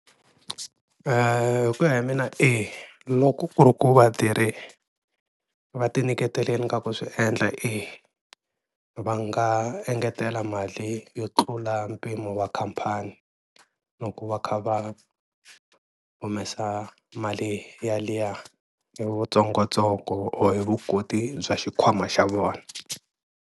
Hi ku ya hi mina eya, loko ku ri ku vatirhi va ti nyiketelini ka ku swi endla eya, va nga engetela mali yo tlula mpimo wa khampani loko va kha va humesa mali yaliya ya vu tsongotsongo or hi vukoti bya xikhwama xa vona.